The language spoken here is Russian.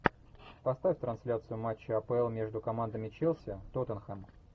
поставь трансляцию матча апл между командами челси тоттенхэм